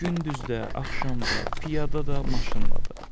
Gündüz də, axşam da, piyada da, maşınla da.